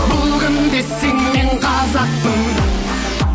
бұл кім десең мен қазақпын